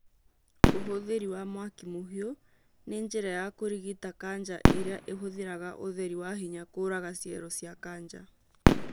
ũhũthĩri wa mwaki mũhiũ nĩ njĩra ya kũrigita kanja ĩrĩa ĩhũthĩraga ũtheri wa hinya kũraga cero cia kanja